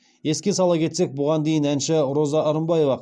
еске сала кетсек бұған дейін әнші роза рымбаева